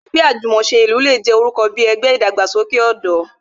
Ẹgbẹ́ Àjùmòse ní ìlú le jẹ́ ẹgbẹ́ orúkọ bí ẹgbẹ́ ìdàgbàsókè ọ̀dọ́